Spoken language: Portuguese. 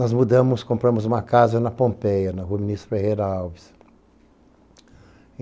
Nós mudamos, compramos uma casa na Pompeia, na rua Ministro Ferreira Alves.